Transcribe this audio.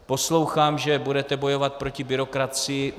Poslouchám, že budete bojovat proti byrokracii.